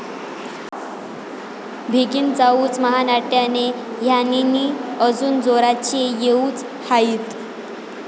भिगीन जाऊच महानाट्याने ह्यंनीनी अजून जोराचे येऊच हायीत.